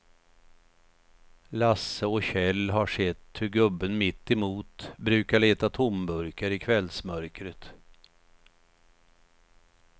Lasse och Kjell har sett hur gubben mittemot brukar leta tomburkar i kvällsmörkret.